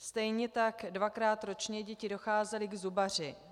Stejně tak dvakrát ročně děti docházely k zubaři.